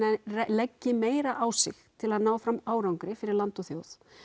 leggi meira á sig til að ná fram árangri fyrir land og þjóð